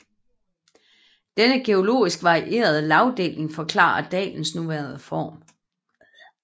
Denne geologisk varierede lagdeling forklarer dalens nuværende form